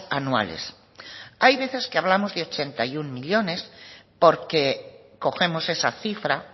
anuales hay veces que hablamos de ochenta y uno millónes porque cogemos esa cifra